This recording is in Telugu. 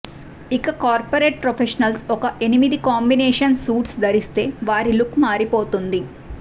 ఇక కార్పొరేట్ ప్రొఫెషనల్స్ ఒక ఎనిమిది కాంబినేషన్ సూట్స్ ధరిస్తే వారి లుక్ మారిపోతుంది